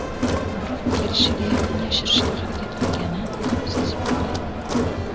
Biroq kelishiga yaqin yashirishga harakat qilganini sezib qolgan.